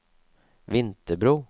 Vinterbro